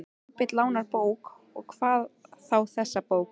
Kolbeinn lánar bók, og hvað þá þessa bók.